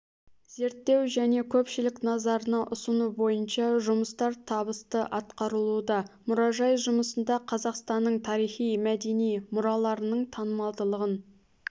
зерттеу және көпшілік назарына ұсыну бойынша жұмыстар табысты атқарылуда мұражай жұмысында қазақстанның тарихи-мәдени мұраларының танымалдылығын